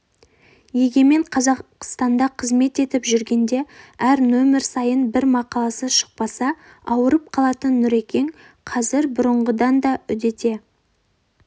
егемен қазақстанда қызмет етіп жүргенде әр нөмір сайын бір мақаласы шықпаса ауырып қалатын нүрекең қазір бұрынғыдан да үдете